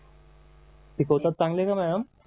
शिकवतात चांगली का मॅडम